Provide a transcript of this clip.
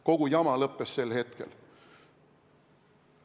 Kogu jama lõppes sel hetkel.